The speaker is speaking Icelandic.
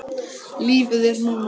Lífið er núna